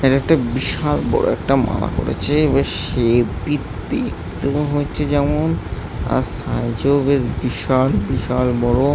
আর একটা বিশাল বড়ো একটি মালা পারেছে বেশ হেবি দেখতে মনে হচ্ছে যেমন। আর সাইজেও বেশ বিশাল বিশাল বড়ো।